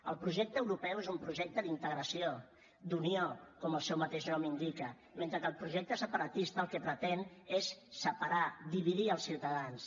el projecte europeu és un projecte d’integració d’unió com el seu mateix nom indica mentre que el projecte separatista el que pretén és separar dividir els ciutadans